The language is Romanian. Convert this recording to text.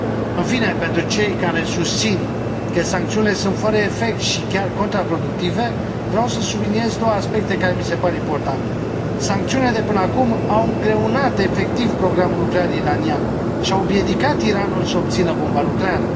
În fine, pentru cei care susțin că sancțiunile sunt fără efect și chiar contraproductive, vreau să subliniez două aspecte care mi se par importante sancțiunile de până acum au îngreunat efectiv programul nuclear iranian, și au împiedicat Iranul să obțină bomba nucleară.